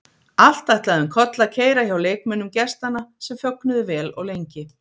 Allt ætlaði um koll að keyra hjá leikmönnum gestanna sem fögnuðu vel og lengi.